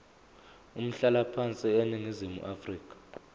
umhlalaphansi eningizimu afrika